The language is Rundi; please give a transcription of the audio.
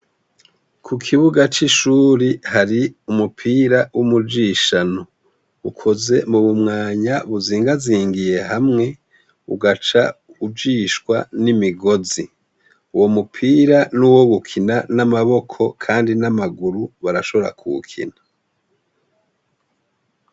Kukibuga c’ishure hari umupira w’umujishano ukoze mubumwanya uziganzigiye hamwe ugaca ujishwa n’imigozi. Uwo mupira nuwo gukina n’amaboko kandi n’amaguru barashobora kuwukina.